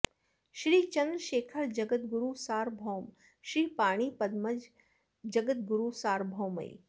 श्री चन्द्रशेखर जगद्गुरु सार्वभौम श्री पाणि पद्मज जगद्गुरुसार्वभौमैः